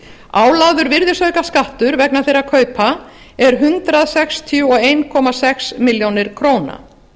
ár álagður virðisaukaskattur vegna þeirra kaupa er hundrað sextíu og einn komma sex milljónir króna